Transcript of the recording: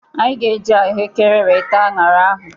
Anyị ga-eji ahụekere wee taa anyara ahụ.